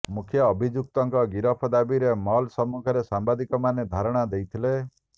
ମୁଖ୍ୟ ଅଭିଯୁକ୍ତଙ୍କ ଗିରଫ ଦାବିରେ ମଲ୍ ସମ୍ମୁଖରେ ସାମ୍ବାଦିକମାନେ ଧାରଣା ଦେଇଥିଲେ